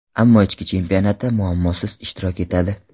Ammo ichki chempionatda muammosiz ishtirok etadi.